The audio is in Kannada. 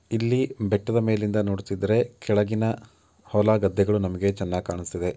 ಇಲ್ಲಿ ಬೆಟ್ಟದ ಮೇಲಿಂದ ನೋಡ್ತಿದ್ರೆ ಕೆಳಗಿನ ಹೊಲ ಗದ್ದೆಗಳು ನಮಗೆ ಚೆನ್ನಾಗಿ ಕಾಣುಸ್ತವೆ.